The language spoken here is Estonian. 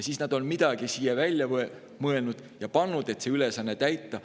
" Siis nad on midagi välja mõelnud ja siia kirja pannud, et see ülesanne täita.